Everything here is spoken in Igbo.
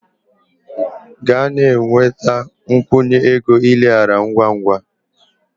Gaa na-enweta a nkwụnye ego ileghara ngwa ngwa!